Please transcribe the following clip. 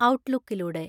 ഔട്ട്ലുക്കിലൂടെ